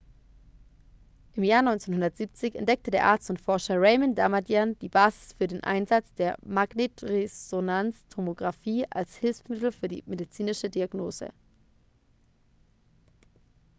im jahr 1970 entdeckte der arzt und forscher raymond damadian die basis für den einsatz der magnetresonanztomografie als hilfsmittel für die medizinische diagnose